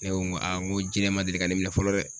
Ne ko n ko n ko jɛgɛ ma deli ka ne minɛ fɔlɔ dɛ